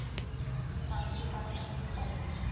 van toepassing op